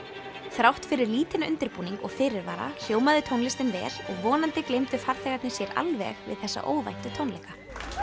þrátt fyrir lítinn undirbúning og fyrirvara hljómaði tónlistin vel og vonandi gleymdu farþegarnir sér alveg við þessa óvæntu tónleika